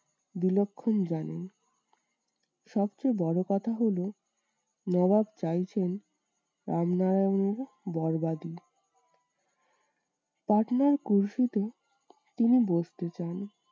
বিলক্ষণ জানেন। সবচেয়ে বড় কথা হলো নবাব চাইছেন রামনারায়ণের বর্বাদি। পার্টনার তিনি বসতে চান।